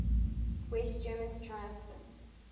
west germans triumphed